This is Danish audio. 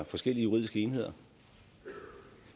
forskellige juridiske enheder